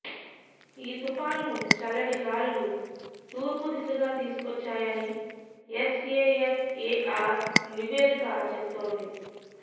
ఈ తుపానును చల్లటి గాలులు తూర్పు దిశగా తీసుకొచ్చాయని ఎస్ఏఎఫ్ఏఆర్ నివేదిక చెప్తోంది